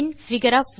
பின் figure